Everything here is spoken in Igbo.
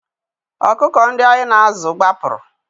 Ọkụkọ ndị anyị na-azụ gbapụrụ